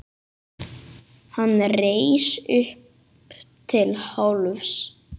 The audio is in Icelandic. Hann reis upp til hálfs.